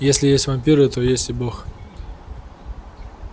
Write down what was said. если есть вампиры то есть и бог